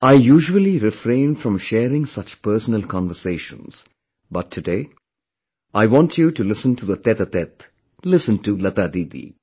I usually refrain from sharing such personal conversations; but today, I want you to listen to the tete a tete; listen to Lata Didi